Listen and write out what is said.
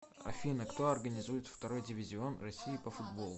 афина кто организует второй дивизион россии по футболу